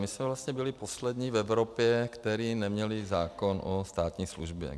My jsme vlastně byli poslední v Evropě, kteří neměli zákon o státní službě.